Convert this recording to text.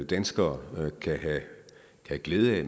danskere kan have glæde af